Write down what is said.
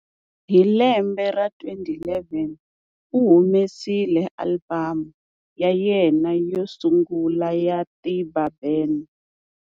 Hi lembe ra 2011 u humesile album ya yena yo sungula ya Tiba Ben.